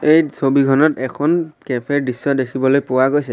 এই ছবিখনত এখন কেফে দৃশ্য দেখিবলৈ পোৱা গৈছে।